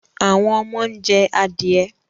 Àwọn ọmọ ń jẹ adìẹ